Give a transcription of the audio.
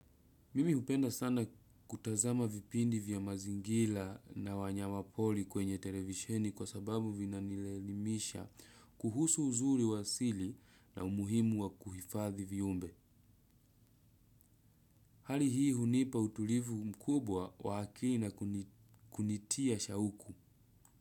Mimi hupenda sana kutazama vipindi vya mazingira na wanyama poli kwenye televisheni kwa sababu vina nielimisha kuhusu uzuri wa asili na umuhimu wa kuhifadhi viumbe. Hali hii hunipa utulivu mkubwa wa akili na kunitia shauku.